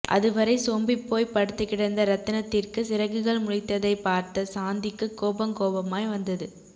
அதுவரையில் சோம்பிப்போய்ப் படுத்துக்கிடந்த ரத்தினத்திற்கு சிறகுகள் முளைத்ததைப் பார்த்த சாந்திக்கு கோபங் கோபமாய் வந்தது